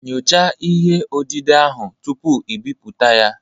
Nyochaa ihe odide ahụ tupu i bipụta ya